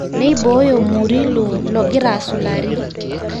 Neiboyo Murillo logira asulari.